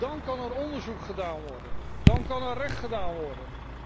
Dan kan er onderzoek gedaan worden en kan er recht gedaan worden.